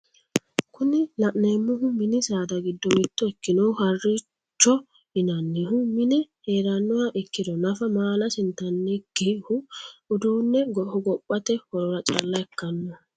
Kuni la'neemohu mini saada giddo mitto ikkinohu harricho yinannihu mine heerannoha ikkiro nafa maalasi intannikihu udune hogophate horora calla ikkannoho.